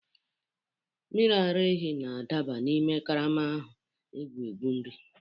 Mmiri ara ehi na-adaba n'ime karama ahụ, egwu egwu nri.